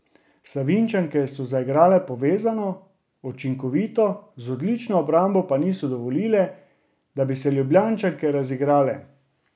Savinjčanke so zaigrale povezano, učinkovito, z odlično obrambo pa niso dovolile, da bi se Ljubljančanke razigrale.